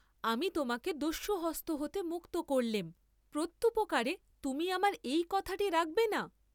আমি তোমাকে দস্যুহস্ত হতে মুক্ত করলেম প্রত্যুপকারে তুমি আমার এই কথাটি রাখবে না?